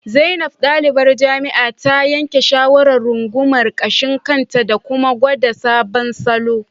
Zainab, dalibar jami'a, ta yanke shawarar rungumar gashin kanta da kuma gwada sabodon salon